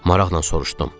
Maraqla soruşdum.